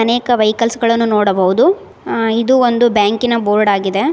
ಅನೇಕ ವೆಹಿಕಲ್ಸ್ ಗಳನ್ನು ನೋಡಬಹುದು ಇದು ಒಂದು ಬ್ಯಾಂಕಿ ನ ಬೋರ್ಡ್ ಆಗಿದೆ.